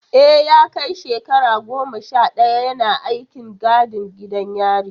E, ya kai shekara goma sha daya yana aikin gadin gidan yari.